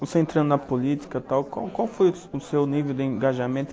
Você entrando na política tal qual qual qual foi o seu nível de engajamento?